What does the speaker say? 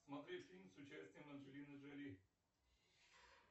смотреть фильм с участием анджелины джоли